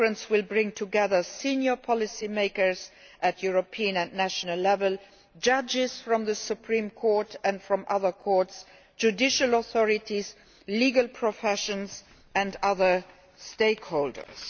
The conference will bring together senior policy makers at European and national level, judges from the Supreme Court and other courts, judicial authorities, legal professions and other stakeholders.